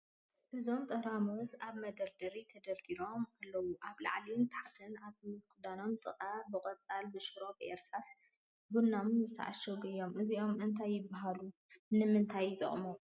እዞም ጠራሙዝ ኣብ መደርደሪ ተደርዲሮም ኣልዉ ኣብ ላዕልን ታሕትን ኣብ ምኽድኖም ጥቃ ብቆፃል፣ ብሽሮ ፣ ብእርሳስን ቡናማን ዝትዓሸገ እዩ እዚኦም እንታይ ይብሃሉ ? ንምንታይ ይጠቅሙ?